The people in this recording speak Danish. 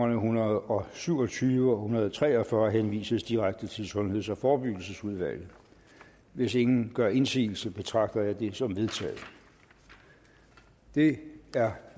en hundrede og syv og tyve og hundrede og tre og fyrre henvises direkte til sundheds og forebyggelsesudvalget hvis ingen gør indsigelse betragter jeg det som vedtaget det er